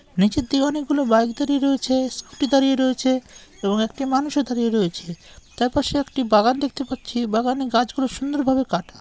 নিচের দিকে অনেক গুলো বাইক দাঁড়িয়ে রয়েছে স্কুটি দাঁড়িয়ে রয়েছে এবং একটি মানুষও দাঁড়িয়ে রয়েছে। তার পাশে একটি বাগান দেখতে পাচ্ছি। বাগানে গাছগুলো সুন্দরভাবে কাটা--